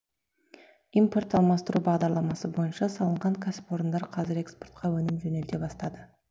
импорт алмастыру бағдарламасы бойынша салынған кәсіпорындар қазір экспортқа өнім жөнелте бастады